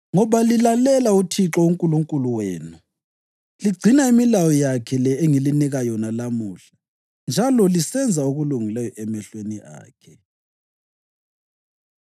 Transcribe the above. ngoba lilalela uThixo uNkulunkulu wenu, ligcina imilayo yakhe le engilinika yona lamuhla njalo lisenza okulungileyo emehlweni akhe.”